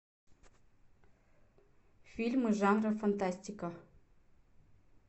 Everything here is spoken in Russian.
фильмы жанра фантастика